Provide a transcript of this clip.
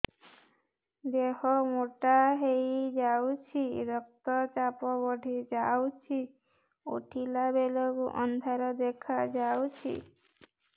ଦେହ ମୋଟା ହେଇଯାଉଛି ରକ୍ତ ଚାପ ବଢ଼ି ଯାଉଛି ଉଠିଲା ବେଳକୁ ଅନ୍ଧାର ଦେଖା ଯାଉଛି